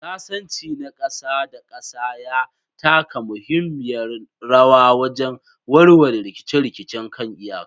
Sasanci na ƙasa da ƙasa ya taka muhimmiyar rawa wajen warware rikice-rikicen kan iyaka.